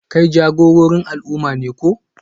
Kai jagororin al'umma ne ko?